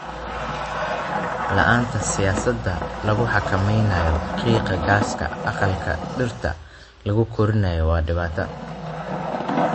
La'aanta siyaasado lagu xakameynayo qiiqa gaaska aqalka dhirta lagu koriyo waa dhibaato.